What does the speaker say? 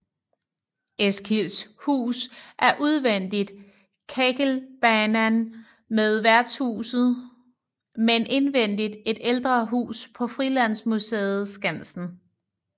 Eskilds hus er udvendigt Kägelbanan ved værtshuset men indvendigt et ældre hus på frilandsmuseet Skansen